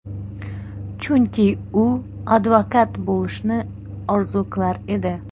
Chunki u advokat bo‘lishni orzu qilar edi.